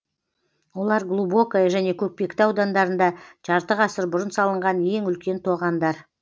олар глубокое және көкпекті аудандарында жарты ғасыр бұрын салынған ең үлкен тоғандар